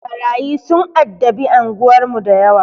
Ɓarayi sun addabi anguwar mu dayawa.